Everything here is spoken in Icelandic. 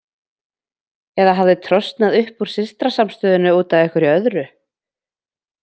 Eða hafði trosnað upp úr systrasamstöðunni út af einhverju öðru?